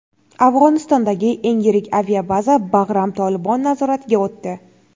Afg‘onistondagi eng yirik aviabaza – Bag‘ram "Tolibon" nazoratiga o‘tdi.